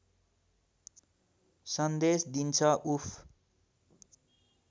सन्देश दिन्छ उफ्